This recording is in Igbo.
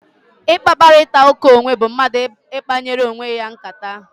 Mkparịta ụka onwe bụ mmadụ ikpanyere onwe ya nkata